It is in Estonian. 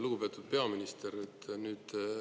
Lugupeetud peaminister!